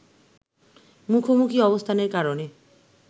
মুখোমুখি অবস্থানের কারণে